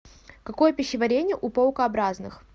какое пищеварение у паукообразных